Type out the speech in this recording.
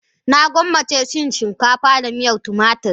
Na gwammace cin shinkafa da miyar tumatur